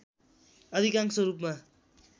अधिकांश रूपमा